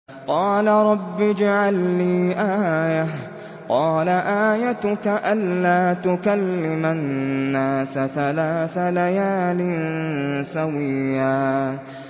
قَالَ رَبِّ اجْعَل لِّي آيَةً ۚ قَالَ آيَتُكَ أَلَّا تُكَلِّمَ النَّاسَ ثَلَاثَ لَيَالٍ سَوِيًّا